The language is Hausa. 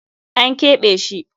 An keɓe shi.